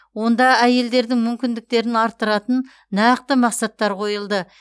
онда әйелдердің мүмкіндіктерін арттыратын нақты мақсаттар қойылды